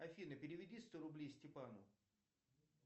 афина переведи сто рублей степану